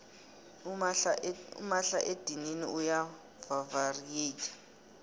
umahla edinini uya vavareyitha